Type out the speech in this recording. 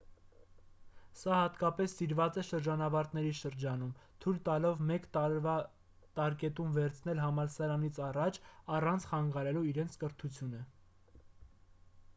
սա հատկապես սիրված է շրջանավարտների շրջանում թույլ տալով մեկ տարվա տարկետում վերցնել համալսարանից առաջ առանց խանգարելու իրենց կրթությունը